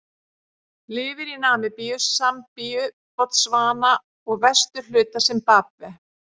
Lifir í Namibíu, Sambíu, Botsvana og vesturhluta Simbabve.